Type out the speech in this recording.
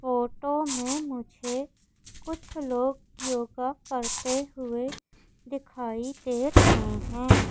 Photo में मुझे कुछ लोग योग करते हुए दिखाई दे रहे हैं।